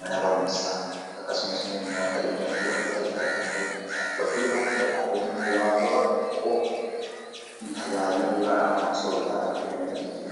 mana barumsaa akkasumasimmoo nyaata dhugaatii wantoota garaagaraa ta'uu danda'a . Gurgurtaan qinxaaboo ammoo wantoota xixiqqoo tajaajila bu'uuraadhaaf yookan soorataadhaaf oolaniidha jechuudha.